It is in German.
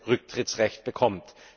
Rücktrittsrecht bekommt.